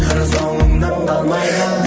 қыр соңыңнан қалмайды